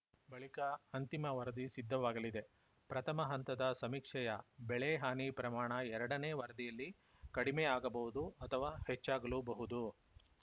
ಬಳಿಕ ಅಂತಿಮ ವರದಿ ಸಿದ್ಧವಾಗಲಿದೆ ಪ್ರಥಮ ಹಂತದ ಸಮೀಕ್ಷೆಯ ಬೆಳೆ ಹಾನಿ ಪ್ರಮಾಣ ಎರಡನೇ ವರದಿಯಲ್ಲಿ ಕಡಿಮೆ ಆಗಬಹುದು ಅಥವಾ ಹೆಚ್ಚಾಗಲೂಬಹುದು